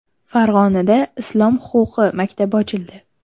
Farg‘onada Islom huquqi maktabi ochildi.